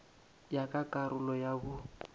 ya ka karolo ya bo